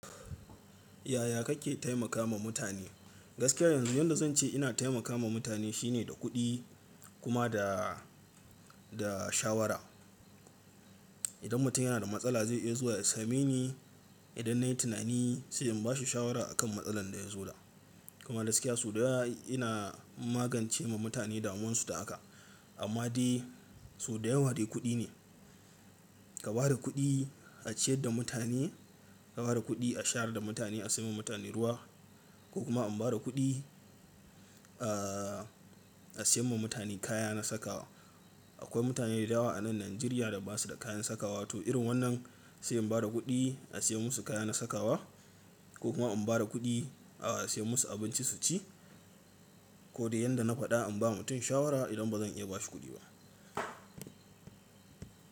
Yaya kake taimakawa mutane? Gaskiya yanzu yadda zan ce ina taimakawa mutane shine da kuɗi kuma da, da shawara. Idan mutum yana da matsala zai iya zuwa ya same ni. Idan nayi tunani sai in bashi shawara a kan matsalar da ya zo da. Kuma gaskiya sau dayawa ina magance ma mutane damuwan su da haka. Amma dai sau da yawa dai kuɗi ne. Ka bada kuɗi a ciyad da mutane, ka bada kuɗi a shayar da mutane, a sayan ma mutane ruwa ko kuma um bada kuɗi a, a sayan ma mutane kaya na sakawa. Akwai mutane da yawa a nan Najeriya da basu da kayan sakawa. To irin wannan sai in bada kuɗi a sayan musu kaya na sakawa ko kuma um bada kuɗi a sayan musu abinci su ci. Ko dai yadda na faɗa inm ba mutum shawara idan bazan iya bashi kuɗi ba.